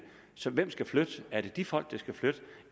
så hvem skal flytte er det de folk der skal flytte